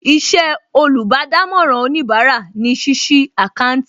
Iṣẹ́ olùbádámọ̀ràn òníbarà ní ṣíṣí àkáńtì